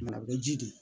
a bɛ ji de di